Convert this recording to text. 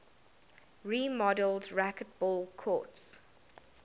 remodeled racquetball courts